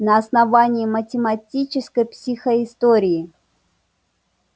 на основании математической психоистории